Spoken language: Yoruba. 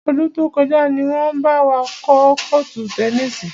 Ọdún tó kọjá ni wọn bá wa kọ́ kọ́ọ́tù tẹnísì.